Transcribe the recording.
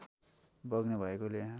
बग्ने भएकाले यहाँ